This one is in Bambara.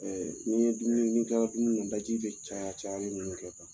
Ɛ ni bɛ dumuni ni tilala dumuni la dumuni na i daji bɛ caya caya ninnu kɛ